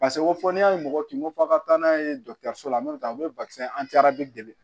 Paseke ko fɔ n'a ye mɔgɔ kin ko fɔ a ka taa n'a ye dɔgɔtɔrɔso la n'o tɛ aw bɛ an tɛ arabi dɛ